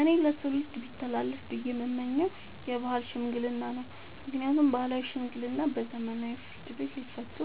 እኔ ለትውልድ ቢተላለፍ ብዬ የምመኘው የባህል ሽምግልና ነው። ምክንያቱም ባህላዊ ሽምግልና በዘመናዊ ፍርድ ቤት ሊፈቱ